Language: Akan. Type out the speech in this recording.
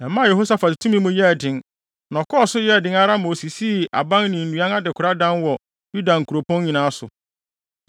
Ɛmaa Yehosafat tumi mu yɛɛ den, na ɛkɔɔ so yɛɛ den ara ma osisii aban ne nnuan adekoradan wɔ Yuda nkuropɔn nyinaa so.